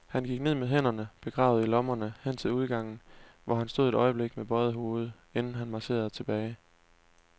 Han gik med hænderne begravet i lommerne hen til udgangen, hvor han stod et øjeblik med bøjet hoved, inden han marcherede tilbage.